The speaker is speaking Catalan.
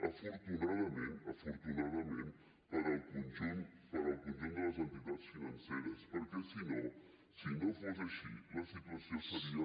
afortunadament afortunadament per al conjunt de les entitats financeres perquè si no si no fos així la situació seria